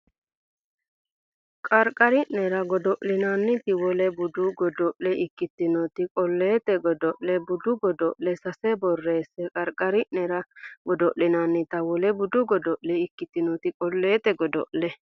Qarqari nera godo linannita wole budu godo le ikkitinoti qolleete godo le budu godo le sase borreesse Qarqari nera godo linannita wole budu godo le ikkitinoti qolleete godo le.